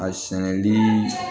A sɛnɛni